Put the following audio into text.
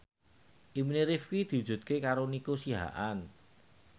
impine Rifqi diwujudke karo Nico Siahaan